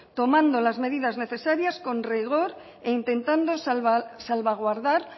tomando las medidas necesarias con rigor e intentando salvaguardar